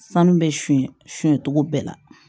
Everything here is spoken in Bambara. Sanu bɛ sunɲɛ cogo bɛɛ la